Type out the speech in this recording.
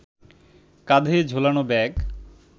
কাঁধে ঝোলানো ব্যাগ